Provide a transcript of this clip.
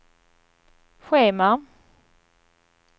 schema